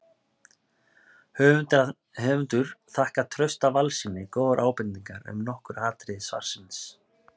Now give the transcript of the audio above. Höfundur þakkar Trausta Valssyni góðar ábendingar um nokkur atriði svarsins.